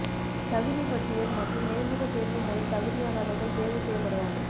தகுதி பட்டியல் மற்றும் நேர்முகத் தேர்வு மூலம் தகுதியானவர்கள் தேர்வு செய்யப்படுவார்கள்